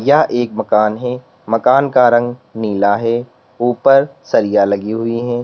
यह एक मकान है। मकान का रंग नीला है। ऊपर सरिया लगी हुई हैं।